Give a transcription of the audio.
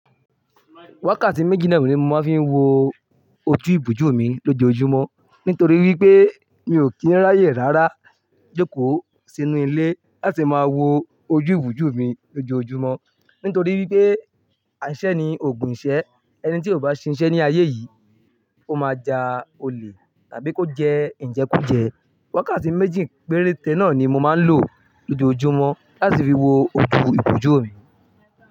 Wákàtí méjì náà ni mo máa ń fi wo ojú ìbòjú mi lójoojúmọ́. Nítorí wípé mi ò kí ń ráyè rárá jókòó sínú ilé láti máa wo ojú ìbòjú mi lójoojúmọ́. Nítorí wípé aiṣẹ́ ni ògun iṣẹ́ ẹni tí ò bá ṣiṣẹ́ ní ayé yìí ó máa ja olè tàbí kó jẹ ìjẹkújẹ. Wákàtí méjì péréte náà ni mo máa ń lò lójoojúmọ́ láti fi wo ojú ìbòjú mi.